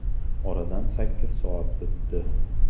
Oradan sakkiz soat o‘tdi”.